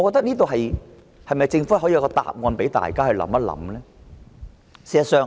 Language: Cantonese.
政府可否提供一個答案，讓大家想一想？